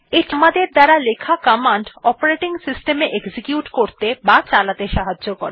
এটি আমাদের দ্বারা লেখা কমান্ড অপারেটিং সিস্টেম এ এক্সিকিউট করত়ে বা চালাতে সাহায্য করে